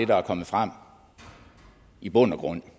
der er kommet frem i bund og grund